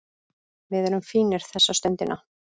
Við erum fínir þessa stundina